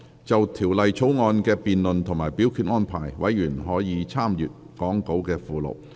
就條例草案的辯論及表決安排，委員可參閱講稿附錄。